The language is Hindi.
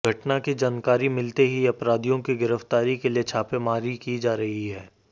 घटना की जानकारी मिलते ही अपराधियों की गिरफ्तारी के लिए छापेमारी की जा रही है